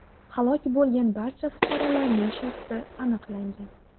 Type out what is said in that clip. Halok bo‘lgan barcha fuqarolarning shaxsi aniqlangan.